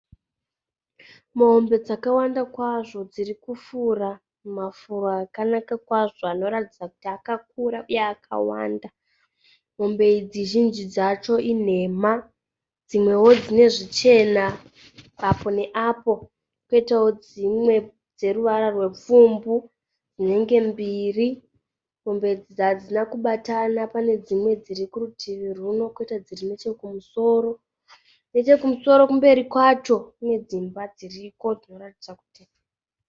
Mombe dzawanda kwazvo dziri kufura mumafuro akanaka kwazvo anoratidza kuti akakura uye akawanda. Mombe idzi zhinji dzacho inhema. Dzimwewo dzine zvichena apo neapo poitawo dzimwe dzeruvara rwupfumbu, dzinenge mbiri. Mombe idzi hadzina kubatana, pane dzimwe dziri kurutivi rwuno koita dziri nechekumusoro. Nechekumusoro kumberi kwacho kune dzimba dziriko.